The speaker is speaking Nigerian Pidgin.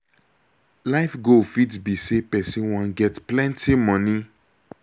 life goal fit be sey person wan get plenty moni